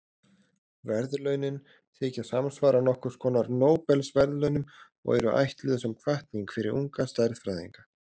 Verðlaunin þykja samsvara nokkurs konar Nóbelsverðlaunum og eru ætluð sem hvatning fyrir unga stærðfræðinga.